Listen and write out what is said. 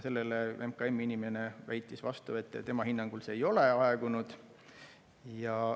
MKM-i inimene väitis vastu, et tema hinnangul see ei ole aegunud.